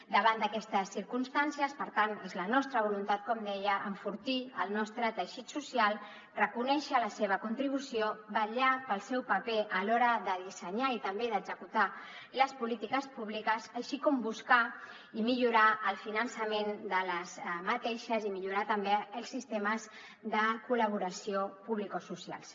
davant d’aquestes circumstàncies per tant és la nostra voluntat com deia enfortir el nostre teixit social reconèixer la seva contribució vetllar pel seu paper a l’hora de dissenyar i també d’executar les polítiques públiques així com buscar i millorar el finançament d’aquestes i millorar també els sistemes de col·laboració publicosocials